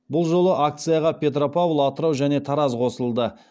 бұл жолы акцияға петропавл атырау және тараз қосылды